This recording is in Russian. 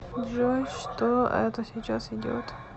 джой что это сейчас идет